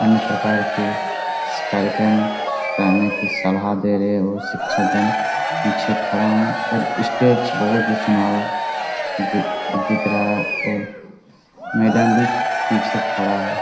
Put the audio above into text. अन्य प्रकार के कार्यक्रम करने का सलाह दे रहे हैं और शिक्षक गण पीछे खड़ा है और स्टेज बहुत ही सुनहरा दिख रहा है और मैडम भी पीछे खड़ा है।